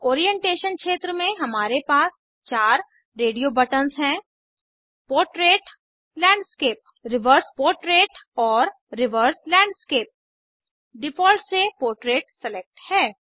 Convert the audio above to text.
orientation क्षेत्र में हमारे पास 4 रेडियो बटन्स हैं पोर्ट्रेट लैंडस्केप रिवर्स पोर्ट्रेट और रिवर्स लैंडस्केप डिफ़ॉल्ट से पोर्ट्रेट सेलेक्ट है